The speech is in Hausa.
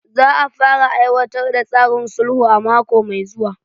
Za a fara aiwatar da tsarin sulhu a mako mai zuwa.